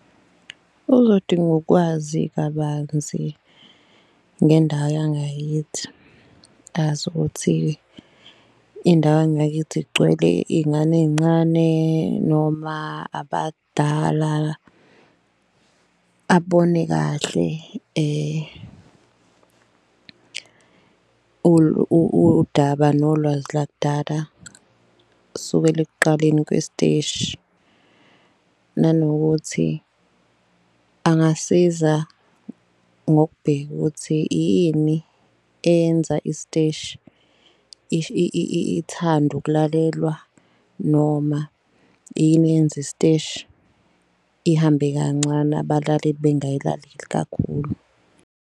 Uzodinga ukwazi kabanzi ngendawo yangakithi azi ukuthi indawo yangakithi igcwele iy'ngane ey'ncane noma abadala. Abone kahle udaba nolwazi lakudala sukela ekuqaleni kwesiteshi nanokuthi angasiza ngokubheka ukuthi ini eyenza isiteshi ithande ukulalelwa. Noma ini eyenzi isiteshi ihambe kancane, abalaleli bengayilaleli kakhulu.